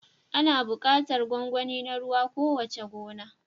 Ana buƙatar gwangwani na ruwa a kowace gona.